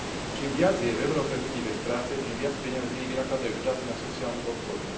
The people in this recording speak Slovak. Čím viac je v Európe ľudí bez práce, tým viac peňazí vynakladajú štáty na sociálnu podporu.